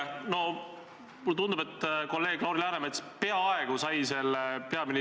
Eestis, nii nagu ka muudes demokraatlikes riikides, mõistab õigust kohus.